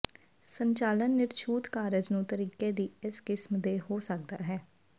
ਸੰਚਾਲਨ ਿਨਰਛੂਤ ਕਾਰਜ ਨੂੰ ਤਰੀਕੇ ਦੀ ਇੱਕ ਕਿਸਮ ਦੇ ਹੋ ਸਕਦਾ ਹੈ